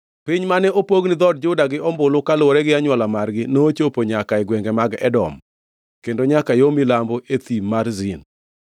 Piny mane opog ni dhood Juda gi ombulu, kaluwore gi anywola margi, nochopo nyaka e gwenge mag Edom, kendo nyaka yo milambo e thim mar Zin.